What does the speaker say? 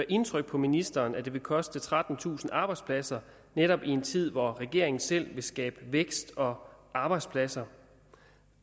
indtryk på ministeren at vil koste trettentusind arbejdspladser netop i en tid hvor regeringen selv vil skabe vækst og arbejdspladser